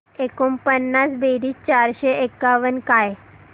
एकोणपन्नास बेरीज चारशे एकावन्न काय